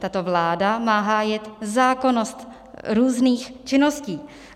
Tato vláda má hájit zákonnost různých činností.